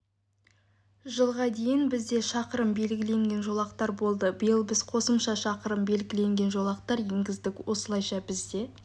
жылға дейін бізде шақырым белгіленген жолақтар болды биыл біз қосмша шақырым беліленген жолақтар енгіздік осылайша бізде